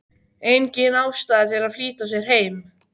Engin ástæða til að flýta sér heim.